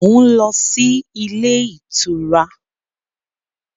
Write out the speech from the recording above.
Mo ń lọ sí ilé ìtura.